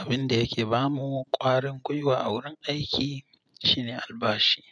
Abin da yake ba mu ƙwarin gwiwa a wurin aiki shine albashi.